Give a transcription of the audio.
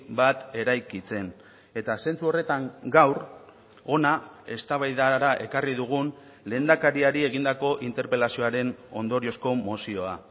bat eraikitzen eta zentzu horretan gaur hona eztabaidara ekarri dugun lehendakariari egindako interpelazioaren ondoriozko mozioa